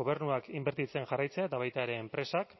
gobernuak inbertitzen jarraitzea eta baita ere enpresak